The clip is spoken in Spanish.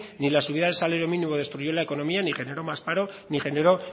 ni la subida del salario mínimo destruyó la economía ni generó más paro ni generó